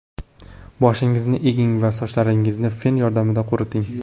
Boshingizni eging va sochlaringizni fen yordamida quriting.